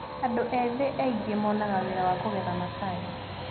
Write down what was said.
Andũ ethĩ aingĩ monaga wĩra wakũgetha macani.